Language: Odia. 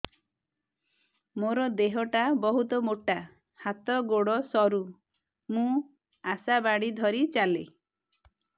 ମୋର ଦେହ ଟା ବହୁତ ମୋଟା ହାତ ଗୋଡ଼ ସରୁ ମୁ ଆଶା ବାଡ଼ି ଧରି ଚାଲେ